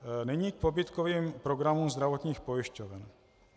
Nyní k pobídkovým programům zdravotních pojišťoven.